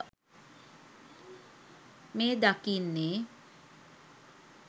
මෙය දකින්නේ